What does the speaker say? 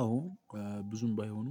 አዎ። ብዙም ባይሆኑ